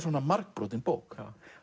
margbrotin bók